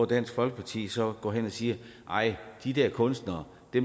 dansk folkeparti så går hen og siger at nej de der kunstnere